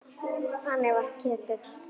Þannig var Ketill.